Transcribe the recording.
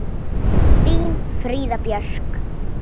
Þín Fríða Björk.